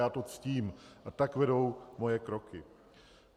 Já to ctím a tak vedou moje kroky.